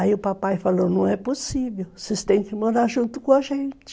Aí o papai falou, não é possível, vocês têm que morar junto com a gente.